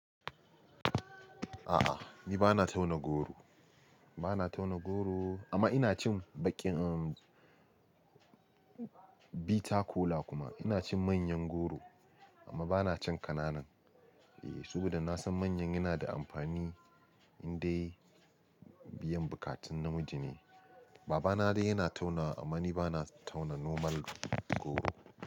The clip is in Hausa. A'a, ni bana tauna goro, bana tauna goro amma ina cin baƙin, umm, Bitter kola kuma ina cin manyan goro amma bana cin ƙananan. Eh, sabida na san manyan yana da amfani indai biyan buƙatun namiji ne. Babana dai yana taunawa amma ni bana tauna normal goro.